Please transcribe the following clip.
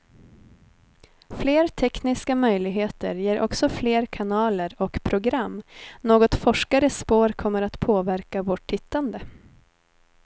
Fler tekniska möjligheter ger också fler kanaler och program, något forskare spår kommer att påverka vårt tittande.